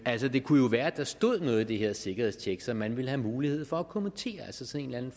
altså det kunne jo være at der stod noget i det her sikkerhedstjek som man ville have mulighed for at kommentere altså sådan en